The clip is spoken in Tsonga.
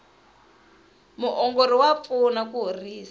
muongori wa pfuna ku horisa